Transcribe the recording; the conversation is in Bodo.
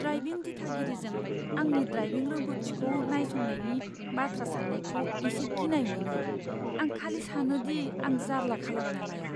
ड्राइभिं दिथागिरिजों आंनि ड्राइभिं रोंगौथिखौ नायसंनायनि बाथ्रा साननायखौ एसे गिनाय मोनो। आं खालि सानो दि आं जारला खालामना लाया।